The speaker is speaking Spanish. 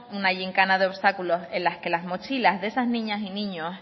una yincana de obstáculos en la que las mochilas de esas niñas y niños